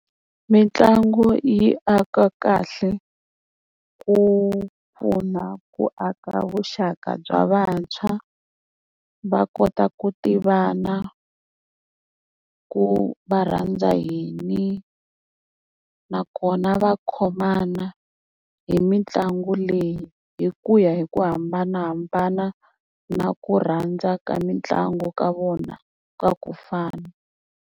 Mitlangu yi aka kahle ku pfuna ku aka vuxaka bya vantshwa va kota ku tivana ku va rhandza yini nakona va khomana hi mitlangu leyi hi ku ya hi ku hambanahambana na ku rhandza ka mitlangu ka vona ka ku fana.